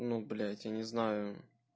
ну блять я не знаю